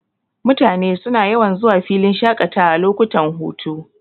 Mutane suna yawan zuwa filin shaƙatawa lokutan hutu.,